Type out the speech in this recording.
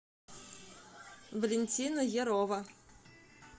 валентина ярова